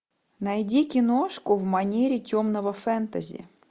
найди киношку в манере темного фэнтези